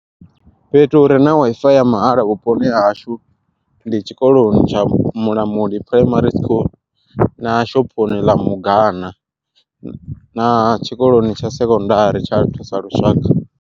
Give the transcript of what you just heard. Fhethu hure na WiFi ya mahala vhuponi ha hashu, ndi tshikoloni tsha Mulamuli Primary School na shophoni ḽa mugana na tshikoloni tsha Sekondari tsha Thusalushaka.